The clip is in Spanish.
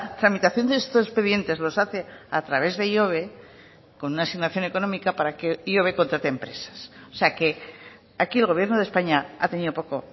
tramitación de estos expedientes los hace a través de ihobe con una asignación económica para que ihobe contrate empresas o sea que aquí el gobierno de españa ha tenido poco